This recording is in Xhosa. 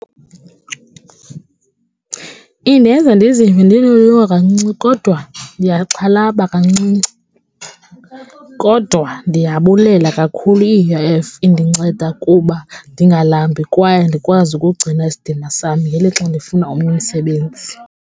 Indenza ndizive ndinoloyiko kancinci kodwa ndiyaxhalaba kancinci kodwa ndiyabulela kakhulu i-U_I_F indinceda kuba ndingalambi kwaye ndikwazi ukugcina isidima sam ngelixa ndifuna omnye umsebenzi.